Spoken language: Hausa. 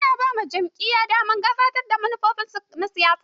Ana ba ma jam'iya damar gabatar da manufofin su na siyasa.